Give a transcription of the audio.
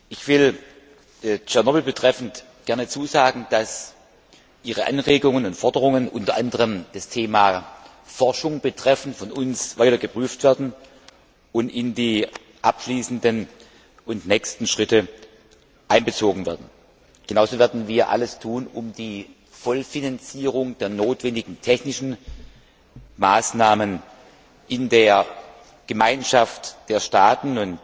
Ich will Tschernobyl betreffend gerne zusagen, dass Ihre Anregungen und Forderungen unter anderem zum Thema Forschung von uns weiter geprüft werden und in die abschließenden und nächsten Schritte einbezogen werden. Genauso werden wir alles tun, um die Vollfinanzierung der notwendigen technischen Maßnahmen in der Gemeinschaft der Staaten